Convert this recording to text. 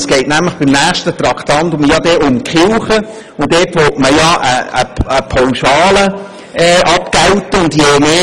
Dort geht es um die Kirchen, bei denen man eine Pauschale abgelten will.